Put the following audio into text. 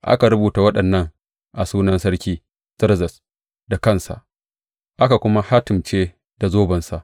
Aka rubuta waɗannan a sunan Sarki Zerzes da kansa, aka kuma hatimce da zobensa.